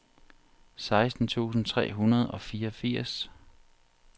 seksten tusind tre hundrede og fireogfirs